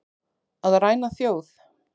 Að ræna þjóð